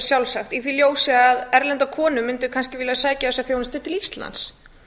sjálfsagt í því ljósi að erlendar konur mundu kannski vilja sækja þessa þjónustu til íslands